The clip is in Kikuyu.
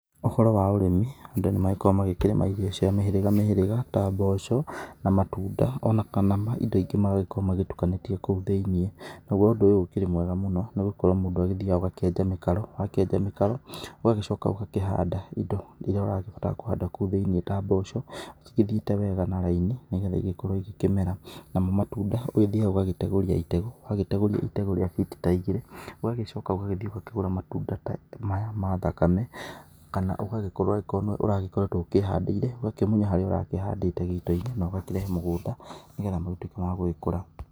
Ũhoro wa ũrĩmi, andũ ni makoragwo magĩkĩrĩma irio cia mĩhĩrĩga mĩhĩrĩga, ta mboco na matunda ona kana indo ingĩ mangĩkorwo magĩtukanĩtie kũu thĩiniĩ. Nagwo ũndũ ũyũ ũkĩrĩ mwega mũno nĩ gũkorwo mũndũ agĩthiaga ũgakĩenja mĩkaro, wakienja mĩkaro ũgagĩcoka ũgakĩhanda indo iria ũrenda kũhanda kũu thĩiniĩ ta mboco, cigĩthiĩte wega na raini, nĩgetha igĩkorwo ikĩmera. Namo matunda, ũgĩthiaga ũgagĩtegũria itego, ũgagĩtegũria itego rĩa biti ta igĩrĩ, ũgagĩcoka ũgagĩthiĩ ũgakĩgũra matunda ta maya ma thakame, kana ũgagĩkorwo angĩkorwo nĩwe ũragĩkoretwo wĩhandĩire, ũgakĩmunya harĩa ũrakĩhandĩte gĩito-inĩ na ũgakĩrehe mũgũnda, nĩgetha magĩtwĩke ma gũgĩkũra.